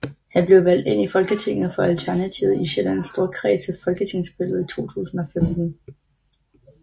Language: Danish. Han blev valgt ind i Folketinget for Alternativet i Sjællands Storkreds ved folketingsvalget i 2015